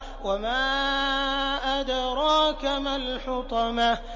وَمَا أَدْرَاكَ مَا الْحُطَمَةُ